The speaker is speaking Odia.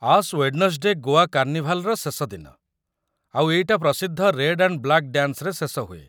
ଆଶ୍ ୱେଡ୍‌ନେସ୍‌ଡେ ଗୋଆ କାର୍ଣ୍ଣିଭାଲ୍‌‌ର ଶେଷ ଦିନ, ଆଉ ଏଇଟା ପ୍ରସିଦ୍ଧ ରେଡ୍ ଆଣ୍ଡ୍ ବ୍ଲାକ୍ ଡ୍ୟାନ୍ସରେ ଶେଷ ହୁଏ ।